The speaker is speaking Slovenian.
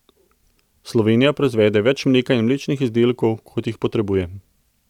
Slovenija proizvede več mleka in mlečnih izdelkov, kot jih potrebuje.